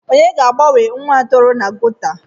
Onye ga-agbanwe nwa a toro na geto?